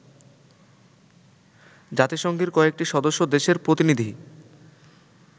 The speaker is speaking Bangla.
জাতিসংঘের কয়েকটি সদস্য দেশের প্রতিনিধি